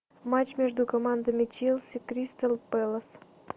матч между командами челси кристал пэлас